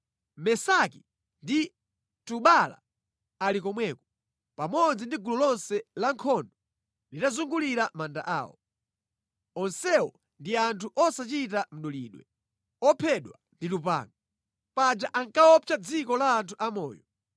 “Mesaki ndi Tubala ali komweko, pamodzi ndi gulu lonse la nkhondo litazungulira manda awo. Onsewo ndi anthu osachita mdulidwe, ophedwa ndi lupanga. Paja ankaopsa mʼdziko la anthu amoyo.